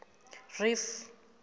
reef